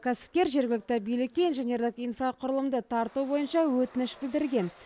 кәсіпкер жергілікті билікке инженерлік инфрақұрылымды тарту бойынша өтініш білдірген